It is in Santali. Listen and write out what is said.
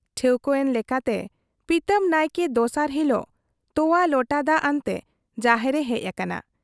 ᱴᱷᱟᱹᱣᱠᱟᱹ ᱮᱱ ᱞᱮᱠᱟᱛᱮ ᱯᱤᱛᱟᱹᱢ ᱱᱟᱭᱠᱮ ᱫᱚᱥᱟᱨ ᱦᱤᱞᱚᱜ ᱛᱚᱣᱟ ᱞᱚᱴᱟ ᱫᱟᱜ ᱟᱱᱛᱮ ᱡᱟᱦᱮᱨ ᱮ ᱦᱮᱡ ᱟᱠᱟᱱᱟ ᱾